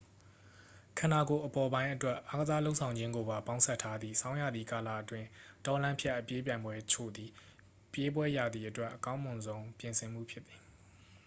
ခန္ဓကိုယ်အပေါ်ပိုင်းအတွက် အားကစားလုပ်ဆောင်ခြင်းကိုပါ ပေါင်းစပ်ထားသည့် ဆောင်းရာသီကာလအတွင်း တောလမ်းဖြတ် အပြေးပြိုင်ပွဲအချို့သည် ပြေးပွဲရာသီအတွက် အကောင်းမွန်ဆုံး ပြင်ဆင်မှုဖြစ်သည်